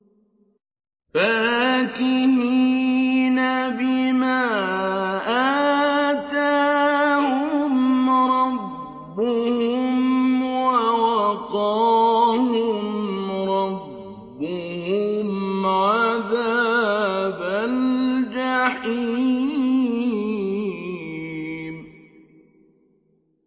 فَاكِهِينَ بِمَا آتَاهُمْ رَبُّهُمْ وَوَقَاهُمْ رَبُّهُمْ عَذَابَ الْجَحِيمِ